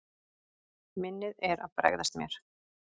Minnið er að bregðast mér.